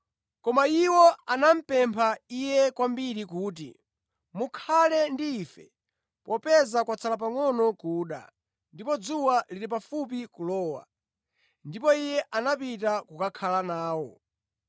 Koma iwo anamupempha Iye kwambiri kuti, “Mukhale ndi ife, popeza kwatsala pangʼono kuda, ndipo dzuwa lili pafupi kulowa.” Ndipo Iye anapita kukakhala nawo.